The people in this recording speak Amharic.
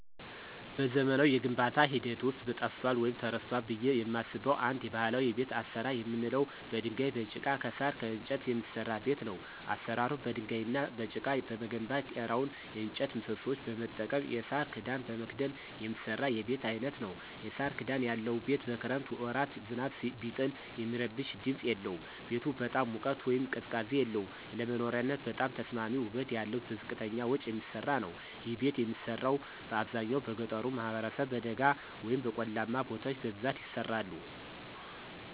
በዘመናዊ የግንባታ ሂደት ውስጥ ጠፍቷል ወይም ተረስቷል ብየ የማስበው አንድ ባህላዊ የቤት አሰራር የምንለው በድንጋይ፣ በጭቃ፣ ከሳር፣ ከእንጨት የሚሰራ ቤት ነው። አሰራሩም በድንጋይ እና በጭቃ በመገንባት ጤራውን የእጨት ምሰሶዎች በመጠቀም የሳር ክዳን በመክደን የሚሰራ የቤት አይነት ነዉ። የሳር ክዳን ያለው ቤት በክረምት ወራት ዝናብ ቢጥል የሚረብሽ ድምፅ የለውም። ቤቱ በጣም ሙቀት ወይም ቅዝቃዜ የለውም። ለመኖሪያነት በጣም ተስማሚ ውበት ያለው በዝቅተኛ ወጭ የሚሰራ ነዉ። ይህ ቤት የሚሰራው በአብዛኛው በገጠሩ ማህበረሰብ በደጋ ወይም በቆላማ ቦታዎች በብዛት ይሰራሉ።